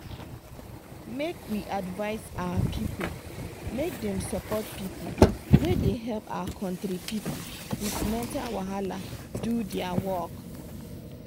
make we advise our pipu make dem support pipu wey da help our country pipu with mental wahala do dia wor